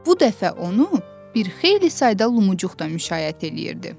Bu dəfə onu bir xeyli sayda lumucuq da müşayiət eləyirdi.